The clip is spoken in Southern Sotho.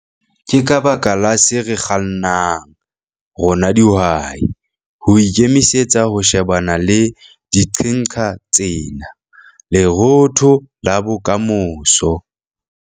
KE KA BAKA LA SE RE KGANNANG, RONA DIHWAI, HO IKEMISETSA HO SHEBANA LE DIQHENQHA TSENA, LEROOTHO LA BOKAMOSO.